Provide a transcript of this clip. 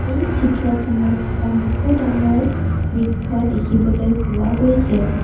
এই চিত্ৰখনত এখন বহু ডাঙৰ বৃক্ষ দেখিবলৈ পোৱা গৈছে।